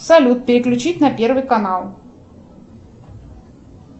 салют переключить на первый канал